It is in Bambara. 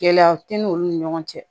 Gɛlɛyaw tɛ n'olu ni ɲɔgɔn cɛ